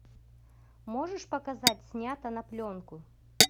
можешь показать снято на пленку